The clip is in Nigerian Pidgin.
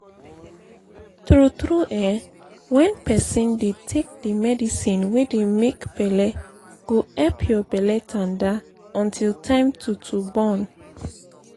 tru tru eh wen pesin dey take di medicine wey dey make belle go epp your belle tanda until time to to born